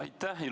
Aitäh!